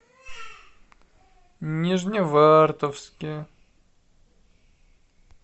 нижневартовске